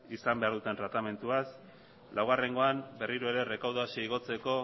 izan behar duten tratamenduaz laugarrengoan berriro ere errekaudazioa igotzeko